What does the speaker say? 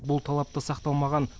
бұл талап та сақталмаған